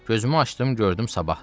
Gözümü açdım, gördüm sabahdır.